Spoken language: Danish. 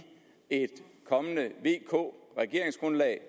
et kommende vk regeringsgrundlag